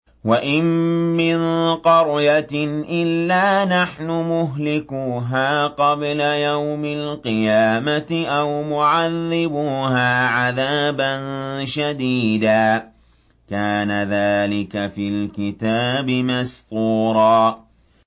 وَإِن مِّن قَرْيَةٍ إِلَّا نَحْنُ مُهْلِكُوهَا قَبْلَ يَوْمِ الْقِيَامَةِ أَوْ مُعَذِّبُوهَا عَذَابًا شَدِيدًا ۚ كَانَ ذَٰلِكَ فِي الْكِتَابِ مَسْطُورًا